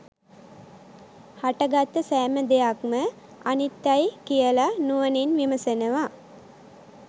හටගත්ත සෑම දෙයක්ම අනිත්‍යයි කියල නුවණින් විමසනවා